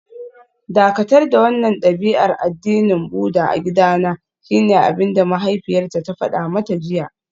Dakatar da wannan dabi'ar addinin Buddah a gidana shine abinda mahaifiyarta ta fada mata jiya